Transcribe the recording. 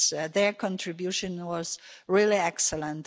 Their contribution was really excellent.